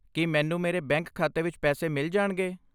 ਕੀ ਮੈਨੂੰ ਮੇਰੇ ਬੈਂਕ ਖਾਤੇ ਵਿੱਚ ਪੈਸੇ ਮਿਲ ਜਾਣਗੇ?